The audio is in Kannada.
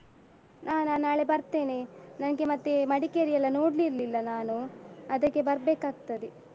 ಹಾ ನಾನು ನಾಳೆ ಬರ್ತೇನೆ, ನನ್ಗೆ ಮತ್ತೆ ಮಡಿಕೇರಿ ಎಲ್ಲ ನೋಡಿರ್ಲಿಲ್ಲ ನಾನು ಅದಕ್ಕೆ ಬರ್ಬೇಕಾಗ್ತದೆ.